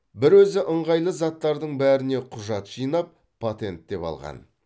бір өзі ыңғайлы заттардың бәріне құжат жинап патенттеп алған